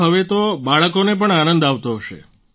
તો હવે તો બાળકોને પણ આનંદ આવતો હશે